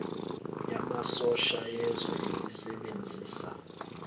yamasosha yezwe elisebenzisa